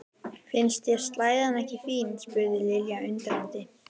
Finnst þér slæðan ekki fín? spurði Lilla undrandi.